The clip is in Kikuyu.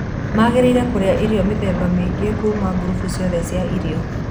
Mangĩrĩire kũrĩa irio mithemba mĩingĩ kuma ngurubu ciothe cia irio.